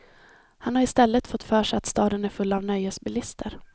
Han har i stället fått för sig att staden är full av nöjesbilister.